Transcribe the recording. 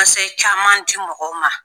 caman di mɔgɔw ma